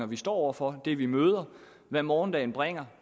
vi står over for det vi møder og hvad morgendagen bringer